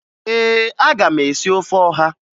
Ee, aga m esi ofe ọha